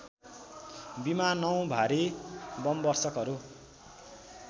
विमानौँ भारी बमवर्षकहरू